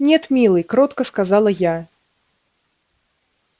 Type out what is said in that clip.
нет милый кротко сказала я